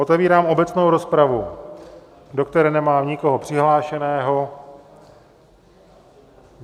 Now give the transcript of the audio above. Otevírám obecnou rozpravu, do které nemám nikoho přihlášeného.